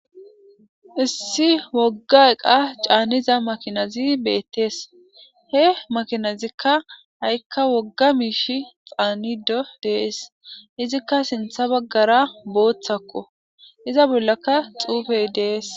issi wogga eqa caanniza makinazi beettees he makinazikka ha7ikka wogga miishi xaanido dees izikka sintha baggara booththakko iza bollaka xuufey de'es